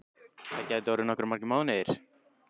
Það gætu orðið nokkuð margir mánuðir.